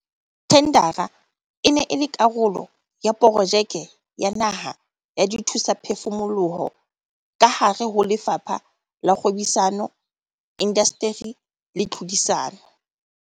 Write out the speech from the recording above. Thendara e ne e le karolo ya Projeke ya Naha ya Dithusaphefumoloho kahare ho Lefapha la Kgwebisano, Indasteri le Tlhodisano.